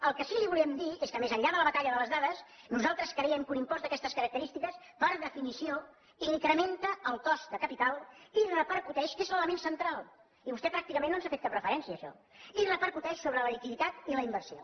el que sí que li volíem dir és que més enllà de la batalla de les dades nosaltres creiem que un impost d’aquestes característiques per definició incrementa el cost de capital i repercuteix que és l’element central i vostè pràcticament no ens ha fet cap referència a això sobre la liquiditat i la inversió